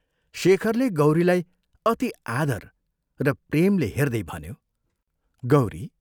शेखरले गौरीलाई अति आदर र प्रेमले हेर्दै भन्यो, "गौरी!